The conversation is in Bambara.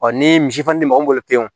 ni misi fana di mɔgɔ min bolo pewu